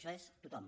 això és tothom